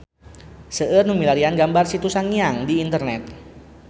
Seueur nu milarian gambar Situ Sangiang di internet